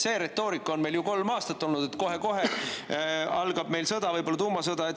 See retoorika on meil ju kolm aastat olnud, et kohe-kohe algab meil sõda, võib-olla tuumasõda.